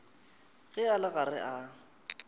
ge a le gare a